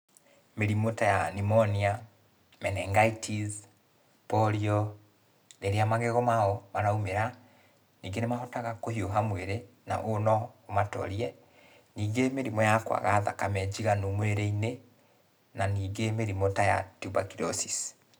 Mĩrimũ ta ya; Pneumonia, Menengitis , Polio, rĩrĩa magego mao maraumĩra, ningĩ nĩ mahotaga kũhiũha mwĩrĩ, na ũũ no ũmatorie, ningĩ mĩrimũ ta ya kwaga thakame njiganu mwĩrĩ-inĩ, na ningĩ mĩrimũ ta ya Tuberculosis.